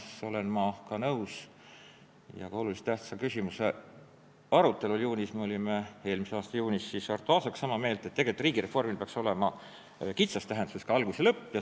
Samas olen ma nõus ja ka oluliselt tähtsa riikliku küsimuse arutelul eelmise aasta juunis me olime Arto Aasaga sama meelt, et tegelikult riigireformil kitsas tähenduses peaks olema ka algus ja lõpp.